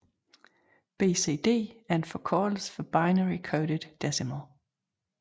BCD er en forkortelse for binary coded decimal